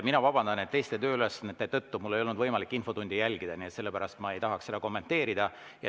Ma vabandan, et teiste tööülesannete tõttu mul ei olnud võimalik infotundi jälgida ja sellepärast ma ei tahaks seda kommenteerida.